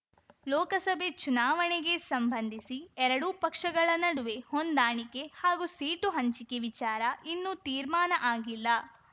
ಲೋಕಸಭೆ ಚುನಾವಣೆಗೆ ಸಂಬಂಧಿಸಿ ಎರಡೂ ಪಕ್ಷಗಳ ನಡುವೆ ಹೊಂದಾಣಿಕೆ ಹಾಗೂ ಸೀಟು ಹಂಚಿಕೆ ವಿಚಾರ ಇನ್ನೂ ತೀರ್ಮಾನ ಆಗಿಲ್ಲ